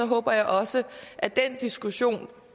håber jeg også at den diskussion